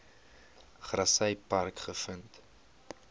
grassy park gevind